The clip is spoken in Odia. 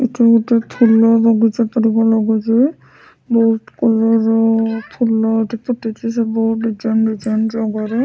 ଏଟା ଗୁଟେ ଫୁଲ ବଗିଚା ପରିକା ଲାଗୁଚି ବୋହୁତ କଲର ର ଫୁଲ ଏଠି ଫୁଟିଚି ସବୁ ଡିଜାଇନ୍ ଡିଜାଇନ୍ ଜାଗାରେ।